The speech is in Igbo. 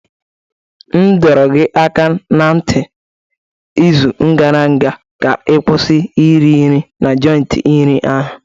M dọrọ gị aka ná ntị n'izu gara aga ka ị kwụsị iri nri na joiti nri ahụ!